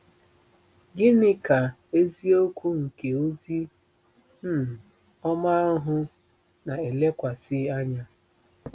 Gịnị ka “eziokwu nke ozi um ọma ahụ” na-elekwasị anya?